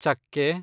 ಚಕ್ಕೆ